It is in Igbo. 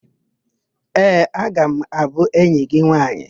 Ee, aga m abụ enyi gị nwaanyị.